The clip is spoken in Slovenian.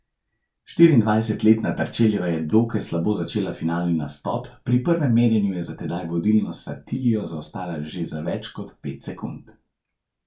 Štiriindvajsetletna Terčeljeva je dokaj slabo začela finalni nastop, pri prvem merjenju je za tedaj vodilno Satilo zaostajala že za več kot pet sekund.